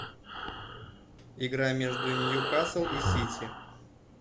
игра между ньюкасл и сити